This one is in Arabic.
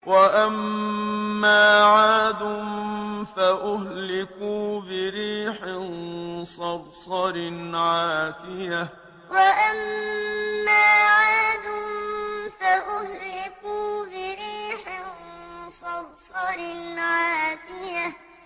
وَأَمَّا عَادٌ فَأُهْلِكُوا بِرِيحٍ صَرْصَرٍ عَاتِيَةٍ وَأَمَّا عَادٌ فَأُهْلِكُوا بِرِيحٍ صَرْصَرٍ عَاتِيَةٍ